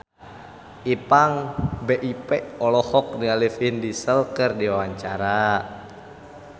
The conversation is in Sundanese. Ipank BIP olohok ningali Vin Diesel keur diwawancara